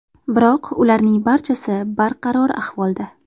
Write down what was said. Biroq ularning barchasi barqaror ahvolda.